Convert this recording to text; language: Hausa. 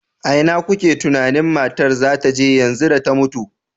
A ina kuke tunanin matar za ta je yanzu da ta mutu?